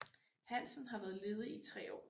Hansen har været ledig i tre år